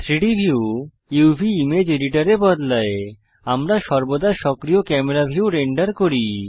3ডি ভিউ uvইমেজ এডিটর এ বদলায় আমরা সর্বদা সক্রিয় ক্যামেরা ভিউ রেন্ডার করি